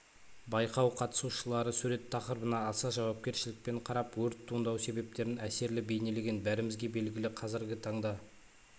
байқау қатысушылары сурет тақырыбына аса жауапкершілікпен қарап өрт туындау себептерін әсерлі бейнелеген бәрімізге белгілі қазіргі таңда